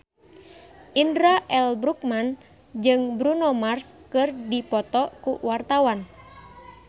Indra L. Bruggman jeung Bruno Mars keur dipoto ku wartawan